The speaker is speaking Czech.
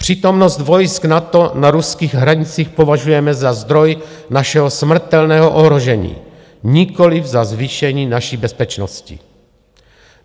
Přítomnost vojsk NATO na ruských hranicích považujeme za zdroj našeho smrtelného ohrožení, nikoli za zvýšení naší bezpečnosti.